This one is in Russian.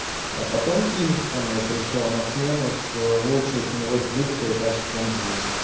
а потом кингстоны пришёл на смену с лучшей ценовой политикой и качеством звука